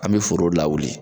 An me foro lawuli